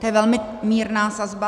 To je velmi mírná sazba.